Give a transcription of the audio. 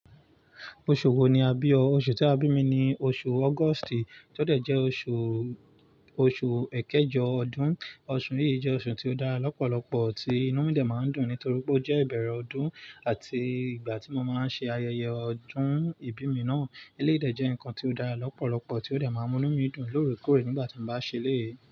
Oṣù wo ni a bí ọ? Oṣù tí a bí mi ni oṣù August, kí ó tọ jẹ́ oṣù, oṣù ekéjọ ọdún. Oṣù yìí jẹ́ oṣù tí ó dára lọ́pọ̀lọpọ̀ tí inú mi dà máa ń dùn nítorí pé ó jẹ́ ìbẹ̀rẹ̀ ọdún àti ìgbà tí mo máa ń ṣe ayẹyẹ ọdún ìbí mi náà. Ilé ìdè jẹ́ nǹkan tí ó dára lọ́pọ̀lọpọ̀ tí ó dà máa ń mú inú mi dùn lóorekóre nígbà tí mo bá ń ṣe lé yìí.